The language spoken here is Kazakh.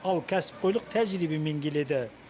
ал кәсіпқойлық тәжірибемен келеді